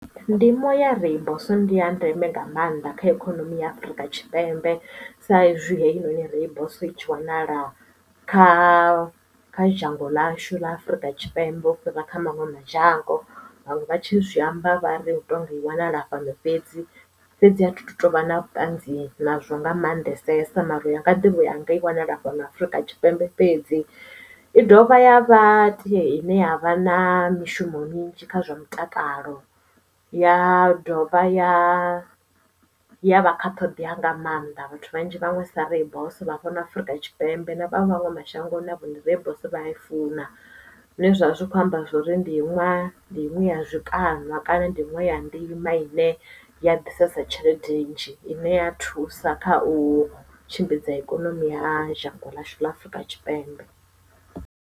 Ndimo ya rooibos ndi ya ndeme nga maanḓa kha ikonomi ya Afrika Tshipembe sa izwi heinoni rooibos itshi wanala kha kha dzhango ḽashu ḽa Afurika Tshipembe u fhira kha maṅwe madzhango vhaṅwe vha tshi zwi amba vha ri hu tou nga i wanala fhano fhedzi fhedzi athi tu tovha na vhuṱanzi nazwo nga maanḓesesa mara yanga ḓivho yanga i wana dzilafho ḽa Afrika Tshipembe fhedzi i dovha ya vhatea ine ya vha na mishumo minzhi kha zwa mutakalo ya dovha ya ya vha kha ṱhoḓea nga maanḓa vhathu vhanzhi vhaṅwe sa rooibos vha fhano Afrika Tshipembe na vhaṅwevho mashango navhone ndi rooibos vha ya i funa zwine zwavha zwi kho amba zwori ndi iṅwe na iṅwe ya zwikalo nwa kana ndi nwesa ndima ine ya ḓisesa tshelede nnzhi ine ya thusa kha u tshimbidza ikonomi ya shango ḽashu ḽa Afurika Tshipembe.